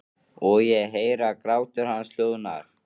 Og ég heyri að grátur hans hljóðnar.